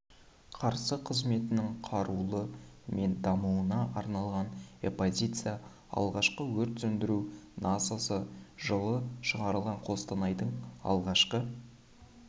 қарсы қызметінің құрылуы мен дамуына арналған экспозиция алғашқы өрт сөндіру насосы жылы шығарылған қостанайдың алғашқы